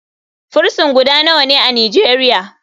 Frison guda nawane a nijeria?